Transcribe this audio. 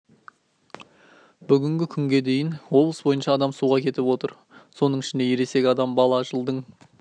бүгінгі күнге дейін облыс бойынша адам суға кетіп отыр соның ішінде ересек адам бала жылдың